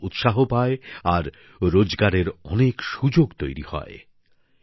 পর্যটন উৎসাহিত হয় আর রোজগারের অনেক সুযোগ তৈরি হয়